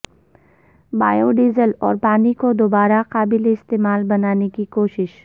biodiesel اور پانی کو دوبارہ قابل استعمال بنانے کی کوشش